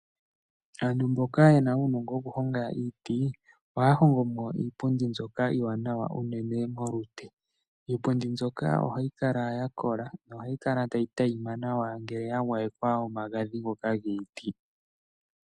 Aantu mboka ye naa uunongo wokuhonga iiti, ohaya hongo po iipundi mbyoka iiwanawa unene molute. Iipundi mbyoka ohayi kala ya kola nohayi kala tayi tayima nawa ngele ya gwayekwa omagadhi ngoka giiti.